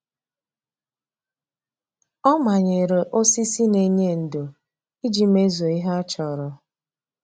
O manyere osisi na-enye ndo iji mezue ihe a chọrọ.